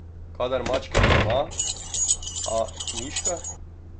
Kadar mačke ni doma, a, miška?